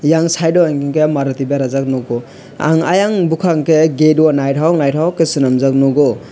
eyang side o hingke maruti berajak nogo ang ayang bokak ke gate o naitok naitok ke selamjak nogo.